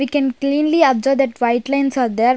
We can cleanly observe that white lines are there.